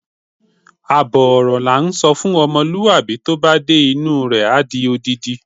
Àbọ̀ ọ̀rọ̀ la ńsọ fún ọmọlúwàbí, tó bá dé inú u rẹ̀, á di odindi.